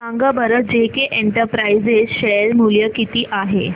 सांगा बरं JK Enterprises share मूल्य किती आहे